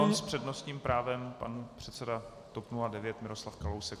Pardon, s přednostním právem pan předseda TOP 09 Miroslav Kalousek.